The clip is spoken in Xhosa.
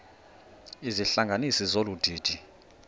izihlanganisi zolu didi